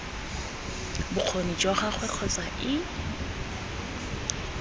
bokgoni jwa gagwe kgotsa ii